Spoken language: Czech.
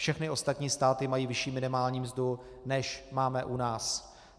Všechny ostatní státy mají vyšší minimální mzdu, než máme u nás.